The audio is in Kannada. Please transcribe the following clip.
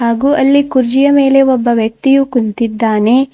ಹಾಗೂ ಅಲ್ಲಿ ಕುರ್ಜಿಯ ಮೇಲೆ ಒಬ್ಬ ವ್ಯಕ್ತಿಯು ಕುಂತಿದ್ದಾನೆ.